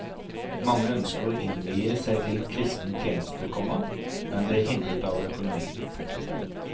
Mange ønsker å innvie seg til kristen tjeneste, komma men blir hindret av økonomien. punktum